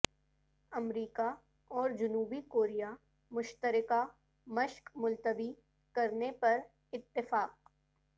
امریکہ اور جنوبی کوریا مشترکہ مشق ملتوی کرنے پر اتفاق